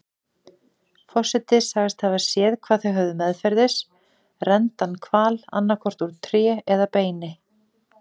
Forseti sagðist hafa séð hvað þau höfðu meðferðis, renndan hval, annaðhvort úr tré eða beini.